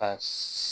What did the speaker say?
A